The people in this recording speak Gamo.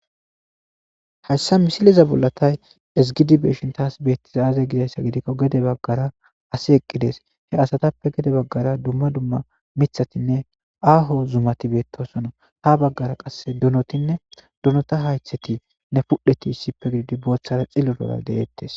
Hayssa misiliza bollatay esgidi beeshin taas beettiza aaze gidayssa gidikko gede baggara asi eqqides he asatappe gede baggara dumma dumma mithatinne aaho zumati beettosona ha baggara qasse donotinne donota haytheti nne fudhdheti ssippe giddi booththara xillu dola deeettes